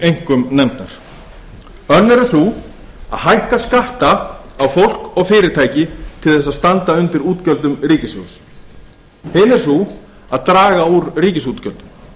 einkum nefndar önnur er sú að hækka skatta á fólk og fyrirtæki til að standa undir útgjöldum ríkissjóðs hin er sú að draga úr ríkisútgjöldum